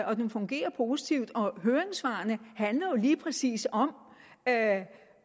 og at den fungerer positivt høringssvarene handler jo lige præcis om